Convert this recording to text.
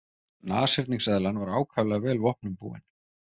Nashyrningseðlan var ákaflega vel vopnum búin.